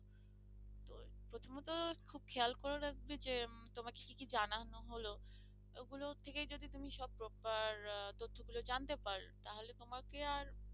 প্রথমত খুব খেয়াল করা লাগবে যে তোমাকে কি কি জানানো হলো এগুলো থেকে যদি তুমি সব প্রকার তথ্য গুলো জানতে পারো তাহলে তোমাকে আর